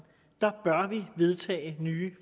bør vi vedtage nye